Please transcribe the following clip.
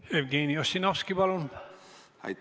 Jevgeni Ossinovski, palun!